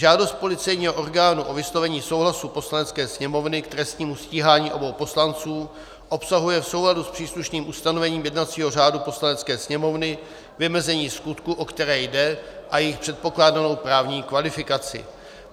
Žádost policejního orgánu o vyslovení souhlasu Poslanecké sněmovny k trestnímu stíhání obou poslanců obsahuje v souladu s příslušným ustanovením jednacího řádu Poslanecké sněmovny vymezení skutků, o které jde, a jejich předpokládanou právní kvalifikaci.